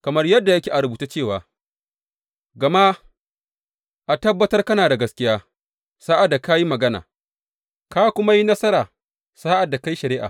Kamar yadda yake a rubuce cewa, Gama a tabbatar kana da gaskiya, sa’ad da ka yi magana, ka kuma yi nasara sa’ad da ka yi shari’a.